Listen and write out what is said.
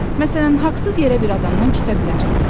Məsələn, haqsız yerə bir adamdan küsə bilərsiniz.